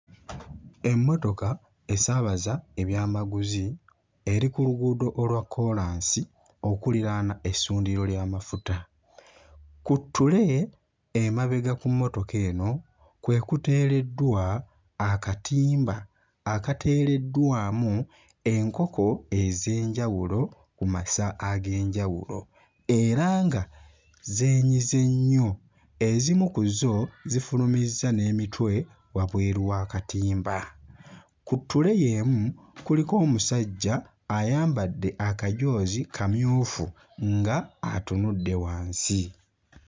Emmotoka esaabaza ebyamaguzi eri ku luguudo olwa kkoolansi okuliraana essundiro ly'amafuta. Ku ttule emabega ku mmotoka eno kwe kuteereddwa akatimba akateereddwamu enkoko ez'enjawulo ku masa ag'enjawulo era nga zeenyize nnyo, ezimu ku zo zifulumuzza n'emitwe wabweru w'akatimba. Ku ttule y'emu kuliko omusajja ayambadde akajoozi kamyufu nga atunudde wansi.